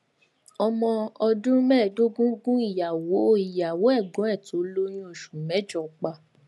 ọmọ ọdún mẹẹẹdógún gun ìyàwó ìyàwó ẹgbọn ẹ tó lóyún oṣù mẹjọ pa